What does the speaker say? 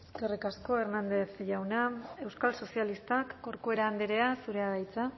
eskerrik asko hernández jauna euskal sozialistak corcuera andrea zurea da hitza